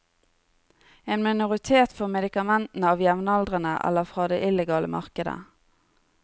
En minoritet får medikamentene av jevnaldrende eller fra det illegale markedet.